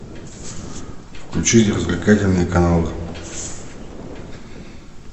включить развлекательные каналы